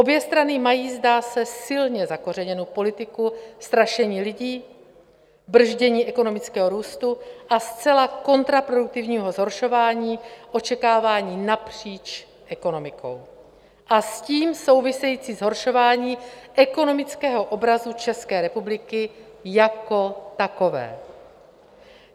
Obě strany mají, zdá se, silně zakořeněnu politiku strašení lidí, brzdění ekonomického růstu a zcela kontraproduktivního zhoršování očekávání napříč ekonomikou a s tím související zhoršování ekonomického obrazu České republiky jako takové.